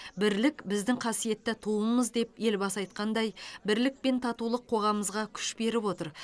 бірлік біздің қасиетті туымыз деп елбасы айтқандай бірлік пен татулық қоғамымызға күш беріп отыр